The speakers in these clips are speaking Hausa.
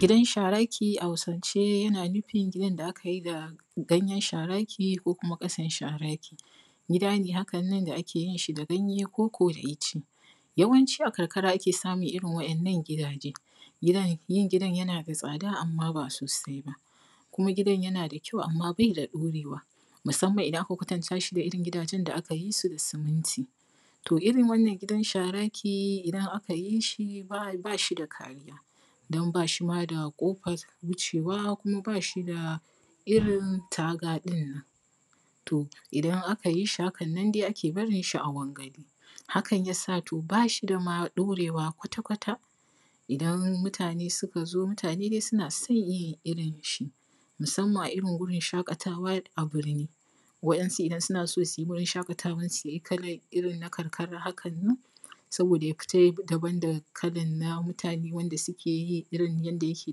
Gidan sharaki a Hausance yana nufin gidan da aka yi shi da ganyen sharaki ko kuma ƙasan sharaki gida ne wanda ake yin shi da ganye koko da ice yawanci a karkara ake samun irin wannan gidaje, yin gidan yana da tsada amma ba sosai ba kuma gidan yana da kyau amma bai da dorewa musamman idan aka kwatanta shi da gidan da aka yi shi da siminti. To, irin wannan gidan sharaki idan aka yi shi ba a mishi kariya don ba shi ma da kofan wucewa kuma ba shi da irin katanga ɗin nan, to idan aka yi shi hakan nan ake barin shi a wangale hakan ya sa to ba shi da ma ɗorewa kwatakwata, idan mutane suka zo mutane dai suna son yin irin shi musamman irin wurin shaƙata wa idan mutane suna so su yi wurin shaƙatawan su kalan irin na karkara hakan nan saboda ya fita da ban da kalan na mutane wanda suke yi irin yadda yake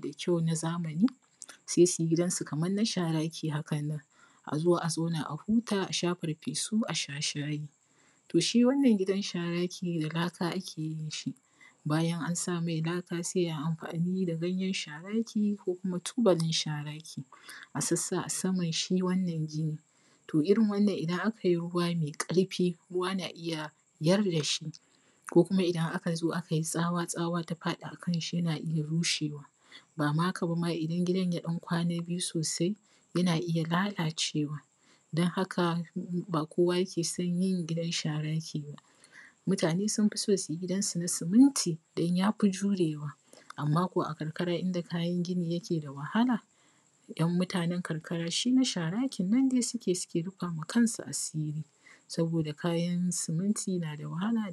da kyau na zamani. Sai su yi gidan su kaman na sharaki hakan nan a zo a zauna a huta a sha farfesu, a sha shayi. To, shi wannan gidan na sharaki da laka ake yin shi bayan an sa me laka sai ai amfani da ganyen sharaki ko kuma tubalin sharaki a sassa a saman shi wannan gini to irin wannan idan akai ruwa mai ƙarfi ruwa na iya yarda shi ko kuma idan aka zo akai tsawa ta faɗa akan shi yana iya rushe wa, ba ma haka ba idan gidan ya kwana biyu sosai yana iya lalacewa don haka ba kowa yake son yin gidan sharaki ba, mutane sun fi so su yi gidan su na siminti don ya fi jurewa, ammam ko a karkara inda kayan gini yake da wahala dan na sharakin nan dai shi suke yi suke rufa wa kansu asiri saboda kayan siminti na da wahala.